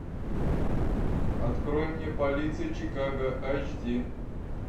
открой мне полиция чикаго айч ди